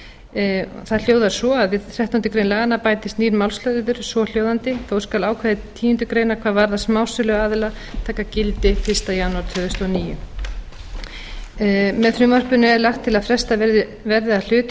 það hljóðar svo fyrstu grein við þrettándu greinar laganna bætist nýr málsliður svohljóðandi þó skal ákvæði tíundu greinar hvað varðar smásöluaðila taka gildi fyrsta janúar tvö þúsund og níu með frumvarpinu er lagt til að frestað verði að hluta